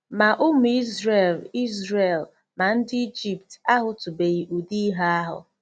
MA ụmụ Izrel Izrel ma ndị Ijipt ahụtụbeghị ụdị ihe ahụ.